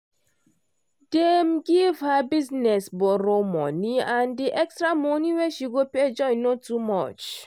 dem give her business borrow-money and the extra money wey she go pay join no too much.